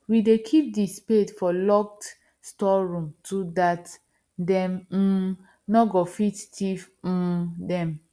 we dey keep the spade for locked store room to that them um nor go fit thief um them